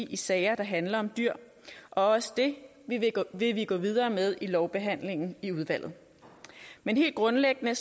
i sager der handler om dyr og også det vil vi gå videre med i lovbehandlingen i udvalget men helt grundlæggende